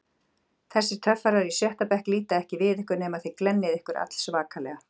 Þessir töffarar í sjötta bekk líta ekki við ykkur nema þið glennið ykkur allsvakalega.